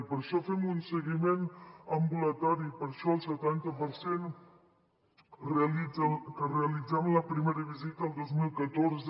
per això fem un seguiment ambulatori per això el setanta per cent que realitzaven la primera visita el dos mil catorze